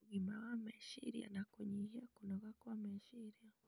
ũgima wa meciria na kũnyihia kũnoga kwa meciria.